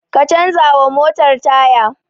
Ka canza wa motar taya!